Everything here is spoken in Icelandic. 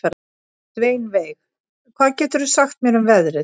Sveinveig, hvað geturðu sagt mér um veðrið?